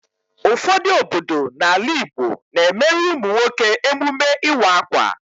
Ụfọdụ obodo n'ala Igbo na-emere ụmụ nwoke emume ịwa akwa.